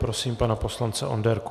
Prosím pana poslance Onderku.